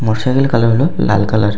Motor cycle - এর colour হলো লাল কালার ।